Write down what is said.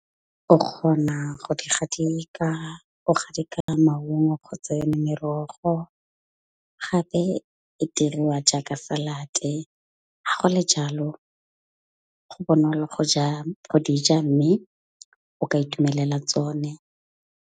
O kgona go di gadika. O gadike maungo kgotsa yone merogo. Gape e diriwa jaaka salad-e. Ga go le jalo go bonolo go ja go di ja. Mme o ka itumelela tsone.